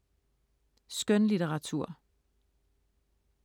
Skønlitteratur